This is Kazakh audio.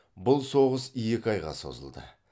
бұл соғыс екі айға созылды